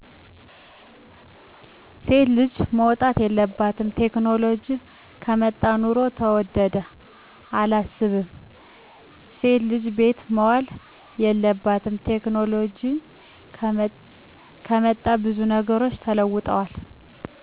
ሴት ልጅ መውጣት የለባትም፣ ቴክኖሎጂ ከመጣ ኑሮ ተወደደ፦ አላስብም እሴት ልጅ ቤት መዋል የለባትም፣ ቴክኖሎጅ ከመጣ ብዙ ነገሮች ተለውጠዋል